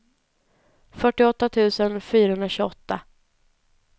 fyrtioåtta tusen fyrahundratjugoåtta